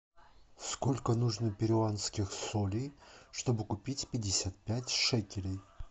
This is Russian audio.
сколько нужно перуанских солей чтобы купить пятьдесят пять шекелей